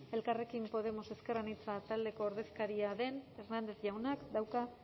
elkarrekin podemos ezker anitza taldeko ordezkaria den hernández jaunak dauka